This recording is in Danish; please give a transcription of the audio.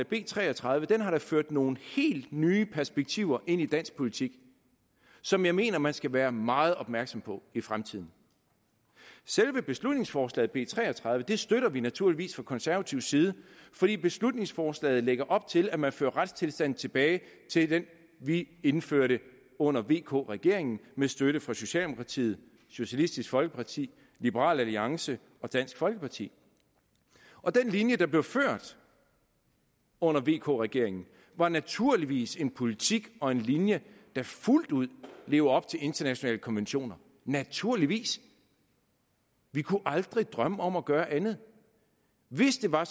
b tre og tredive da har ført nogle helt nye perspektiver ind dansk politik som jeg mener at man skal være meget opmærksom på i fremtiden selve beslutningsforslag nummer b tre og tredive støtter vi naturligvis fra konservatives side fordi beslutningsforslaget lægger op til at man fører retstilstanden tilbage til den vi indførte under vk regeringen med støtte fra socialdemokratiet socialistisk folkeparti liberal alliance og dansk folkeparti den linje der blev ført under vk regeringen var naturligvis en politik og en linje der fuldt ud levede op til internationale konventioner naturligvis vi kunne aldrig drømme om at gøre andet hvis det var